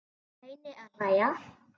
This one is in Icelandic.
Reyni að hlæja.